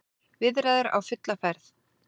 Viðræður á fulla ferð